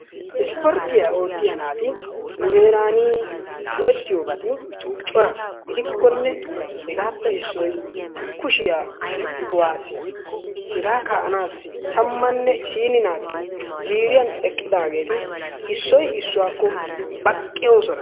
Isporttiya oottiya naati nu heeran go'ettiyoobati cora. gidikkonne hegaappe issoy kushiya kuwaasiya, hega kaa'anassi tammanne isiini naati ziiriyan eqqidaageeti issoy issuwakko baqqoosona.